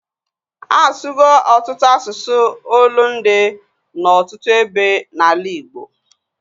Asugo ọtụtụ asụsụ olundi na ọtụtụ ebe na ala Igbo